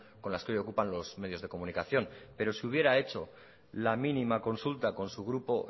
con las que hoy ocupan los medios de comunicación pero si hubiera hecho la mínima consulta con su grupo